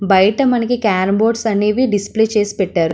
బయట మనకి carrom boards అనేవి డిస్ప్లే చేసి పెట్టారు.